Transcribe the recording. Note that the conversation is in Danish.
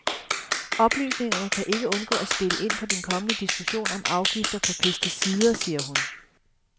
Oplysningerne kan ikke undgå at spille ind på den kommende diskussion om afgifter på pesticider, siger hun.